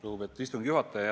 Lugupeetud istungi juhataja!